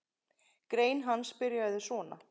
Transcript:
Grein hans byrjaði svona